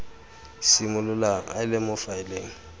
simololang a le mo faeleng